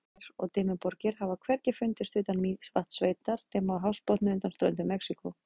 Svipaðar hraunmyndanir og Dimmuborgir hafa hvergi fundist utan Mývatnssveitar nema á hafsbotni undan ströndum Mexíkó.